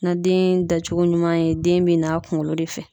Na den dacogo ɲuman ye, den be na a kunkolo de fɛ.